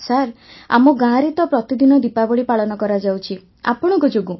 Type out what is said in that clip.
sir ଆମ ଗାଁରେ ତ ପ୍ରତିଦିନ ଦୀପାବଳି ପାଳନ କରାଯାଉଛି ଆପଣଙ୍କ ଯୋଗୁଁ